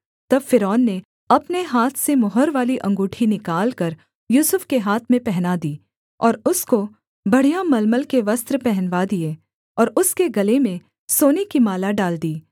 तब फ़िरौन ने अपने हाथ से मुहर वाली अंगूठी निकालकर यूसुफ के हाथ में पहना दी और उसको बढ़िया मलमल के वस्त्र पहनवा दिए और उसके गले में सोने की माला डाल दी